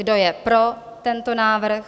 Kdo je pro tento návrh?